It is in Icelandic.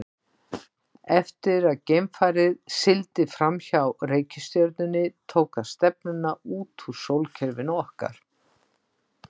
Eftir að geimfarið sigldi fram hjá reikistjörnunni tók það stefnuna út úr sólkerfinu okkar.